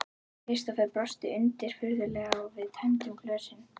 Kristófer brosti undirfurðulega og við tæmdum glösin.